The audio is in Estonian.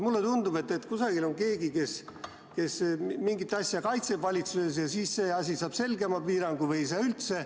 Mulle tundub, et kusagil on keegi, kes valitsuses mingit asja kaitseb, ja siis see asi saab selgema piirangu või ei saa üldse.